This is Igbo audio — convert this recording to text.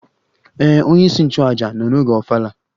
Ee, onyeisi nchụaja nọ n'oge ofala